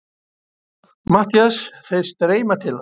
MATTHÍAS: Þeir streyma til hans.